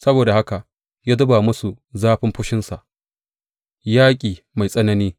Saboda haka ya zuba musu zafin fushinsa, yaƙi mai tsanani.